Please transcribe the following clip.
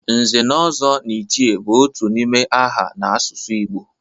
Nze na Ozo na Ichie bụ otu n'ime aha n'asụsụ Igbo